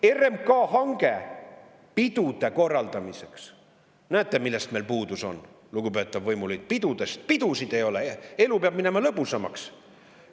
RMK hange pidude korraldamiseks – näete, millest meil puudus on, lugupeetav võimuliit, pidudest, pidusid ei ole, elu peab minema lõbusamaks!